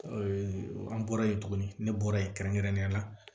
an bɔra yen tuguni ne bɔra yen kɛrɛnkɛrɛnnenya la